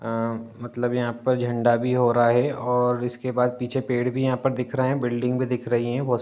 सामने बहोत भीर दिख रहा है। सामने एक बूढ़ा आदमी ने कुरता पैजामा पहना है उसके पास वाले आदमी ने --